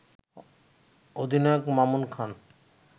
অধিনায়ক মামুন খান